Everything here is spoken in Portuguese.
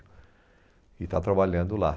E está trabalhando lá.